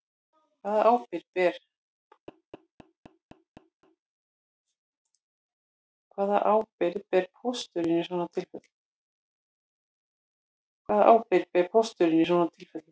Hvaða ábyrgð ber pósturinn í svona tilfellum